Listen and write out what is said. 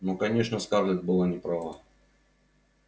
ну конечно скарлетт была не права